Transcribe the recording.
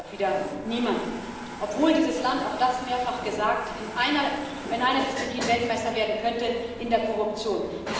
Das stört aber auch wieder niemanden, obwohl dieses Land auch das wurde mehrfach gesagt in einer Disziplin Weltmeister werden könnte in der Korruption.